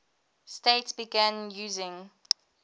states began using